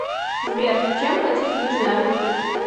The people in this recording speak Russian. сбер чем платить в южной африке